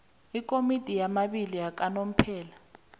ikomiti yababili yakanomphela